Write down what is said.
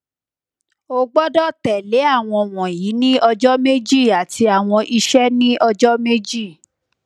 o gbọdọ tẹle awọn wọnyi ni ọjọ meji ati awọn iṣẹ ni ọjọ meji